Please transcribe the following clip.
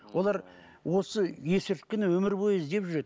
олар осы есірткіні өмір бойы іздеп жүреді